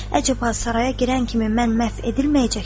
Əcəb o saraya girən kimi mən məhv edilməyəcəkdimmi?